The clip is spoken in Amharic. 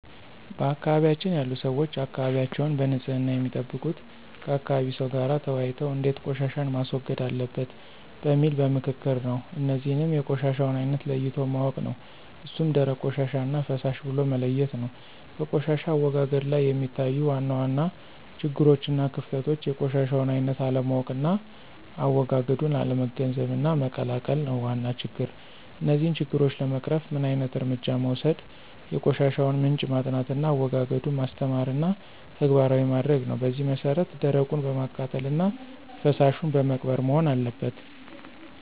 በአካባቢያችን ያሉ ሰዎች አካባቢያቸዉን በንፅህና የሚጠብቁት ከአካባቢ ሰው ጋር ተወያይተው እንዴት ቆሻሻን ማስወገድ አለበት በሚል በምክክር ነው። እነዚህንም የቆሻሻውን አይነት ለይቶ ማወቅ ነው እሱም ደረቅ ቆሻሻና ፈሳሽ ብሎ መለየት ነው። በቆሻሻ አወጋገድ ላይ የሚታዩ ዋና ዋና ችግሮችና ክፍተቶች የቆሻሻውን አይነት አለማወቅና አዎጋገዱን አለመገንዘብና መቀላቀል ነው ዋና ችግር። እነዚህን ችግሮች ለመቅረፍ ምን ዓይነት እርምጃ መወሰድ የቆሻሻውን ምንጭ ማጥናትና አዎጋገዱን ማስተማርና ተግባራዊ ማድረግ ነው በዚህ መሰረት ደረቁን በማቃጠልና ፈሳሹን በመቅበር መሆን አለበት።